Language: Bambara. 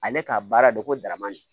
Ale ka baara don ko darama don